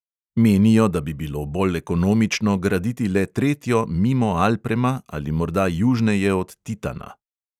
Menijo, da bi bilo bolj ekonomično graditi le tretjo mimo alprema ali morda južneje od titana.